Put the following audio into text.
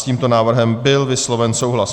S tímto návrhem byl vysloven souhlas.